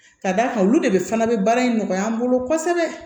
Ka d'a kan olu de fana bɛ baara in nɔgɔya an bolo kosɛbɛ